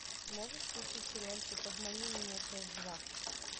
можешь включить сериальчик обмани меня часть два